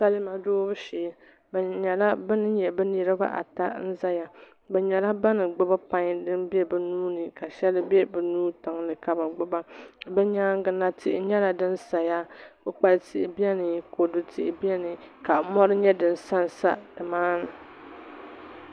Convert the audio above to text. Salima doobu shee bi nyɛla bin nyɛ bi niraba ata n ʒɛya bi nyɛla ban gbubi pai din bɛ bi nuuni ka shɛli bɛ bi nuu tiŋli ka bi gbuba bi nyaangi na tihi nyɛla din saya koukpali tihi biɛni kodu tihi biɛni ka mori nyɛ din sansa nimaani